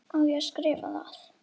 Á ég að skrifa það?